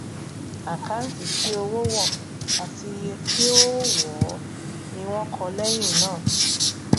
àkáǹtì tí owó wọ àti iye tí ó ó wọọ ni wọn kọ lẹyìn náà